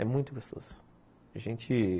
É muito gostoso. A gente...